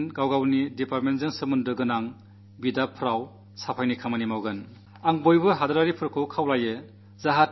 ഈ വകുപ്പുകൾ നടത്തുന്ന പ്രവർത്തനങ്ങളിൽ തങ്ങളുമായി ബന്ധപ്പെട്ട ഇടങ്ങളിൽ മടിക്കാതെ ബന്ധപ്പെടുക എന്നാണ് എനിക്ക് പൌരന്മാരോട് അഭ്യർഥിക്കാനുള്ളത്